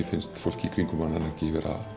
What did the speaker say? finnst fólk í kringum hann ekki